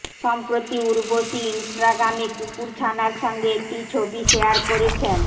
সম্প্রতি উর্বশী ইনস্টাগ্রামে কুকুর ছানার সঙ্গে একটি ছবি শেয়ার করেছেন